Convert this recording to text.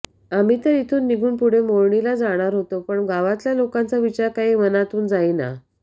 आम्ही तर इथून निघून पुढे मोरणीला जाणार होते पण गावातल्या लोकांचा विचार काही मनातून जाईना